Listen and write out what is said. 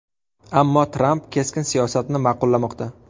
Ammo Tramp keskin siyosatni ma’qullamoqda.